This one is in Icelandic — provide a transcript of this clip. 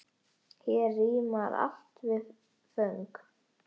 Hér rímar allt við föng.